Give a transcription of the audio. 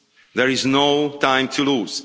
There is no time to lose.